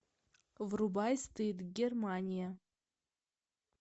врубай стыд германия